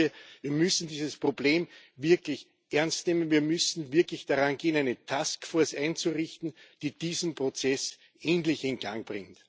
Ich glaube, wir müssen dieses Problem wirklich ernst nehmen, wir müssen wirklich daran gehen, eine Task Force einzurichten, die diesen Prozess endlich in Gang bringt.